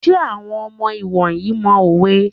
Ṣé àwọn ọmọ ìwòyí mọ òwe?